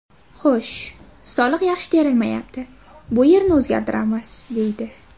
Xo‘sh, soliq yaxshi terilmayapti, bu yerini o‘zgartiramiz, deydi.